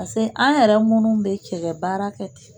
Pase an yɛrɛ munnu bɛ cɛkɛ baarakɛ ten.